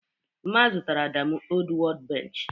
Mma zụtara Adamu old workbench.